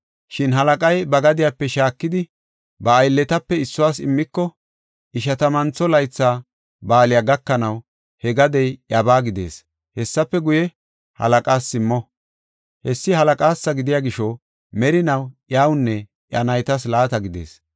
Shin halaqay ba gadiyape shaakidi, ba aylletape issuwas immiko, Ishatamantho Laytha ba7aaley gakanaw, he gadey iyabaa gidees. Hessafe guye, halaqaas simmo; hessi halaqaasa gidiya gisho, merinaw iyawunne iya naytas laata gidees.